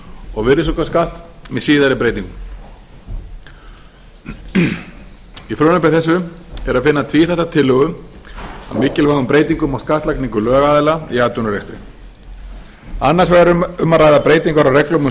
og um virðisaukaskatt með síðari breytingum í frumvarpi þessu er að finna tvíþætta tillögu að mikilvægum breytingum á skattlagningu lögaðila í atvinnurekstri annars vegar er um að ræða breytingar á reglum um